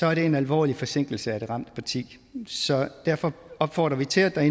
er det en alvorlig forsinkelse af det ramte parti så derfor opfordrer vi til at